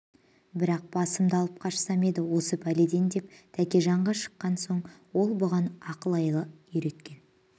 бірақ басымды алып қашсам еді осы пәледен деп тәкежанға шаққан соң ол бұған ақыл-айла үйреткен